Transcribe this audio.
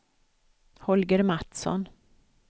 Holger Mattsson